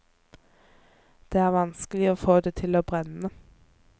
Det er vanskelig å få det til å brenne.